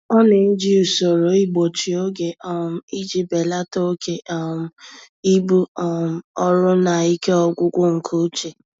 Ọ na-eji usoro igbochi oge um iji belata oke um ibu um ọrụ na ike ọgwụgwụ nke uche.